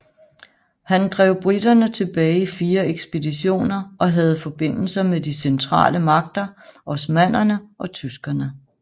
Han drev briterne tilbage i fire ekspeditioner og havde forbindelser med de centrale magter osmannerne og tyskerne